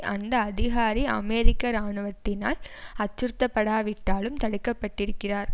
அந்த அதிகாரி அமெரிக்க இராணுவத்தினால் அச்சுறுத்தப்படாவிட்டாலும் தடுக்கப்பட்டிருக்கிறார்